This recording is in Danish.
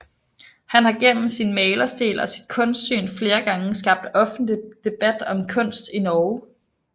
Han har gennem sin malerstil og sit kunstsyn flere gange skabt offentlig debat om kunst i Norge